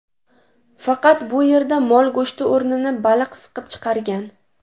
Faqat bu yerda mol go‘shti o‘rnini baliq siqib chiqargan.